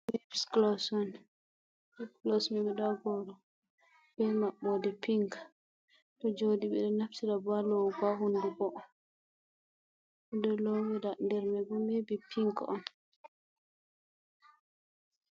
Lips globs on, lips glos mai be maɓɓode pink joɗi ɓeɗo naftira bo ha lowugo ha hunduko, ɓeɗo lowira nder maibo maybe pink on.